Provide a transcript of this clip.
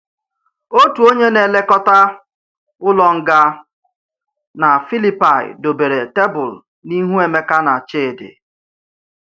Òtù onye na-èlèkọta ụlọ ngā na Filipaị dòbèrè tèbùl n’ihu Emeka na Chidi.